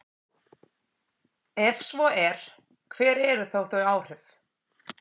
Ef svo er, hver eru þá þau áhrif?